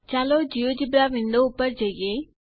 ચાલો GeoGebra window ઉપર જઈએ